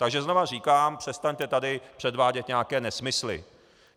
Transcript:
Takže znovu říkám, přestaňte tady předvádět nějaké nesmysly.